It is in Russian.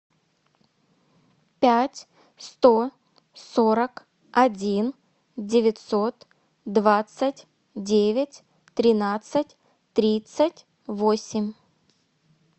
пять сто сорок один девятьсот двадцать девять тринадцать тридцать восемь